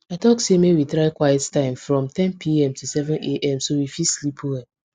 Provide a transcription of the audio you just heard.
i talk say make we try quiet time from ten pm to 7 am so we fit sleep well